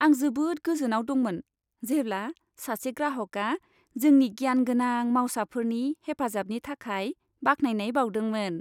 आं जोबोद गोजोनाव दंमोन, जेब्ला सासे ग्राहकआ जोंनि गियानगोनां मावसाफोरनि हेफाजाबनि थाखाय बाख्नायनाय बाउदोंमोन।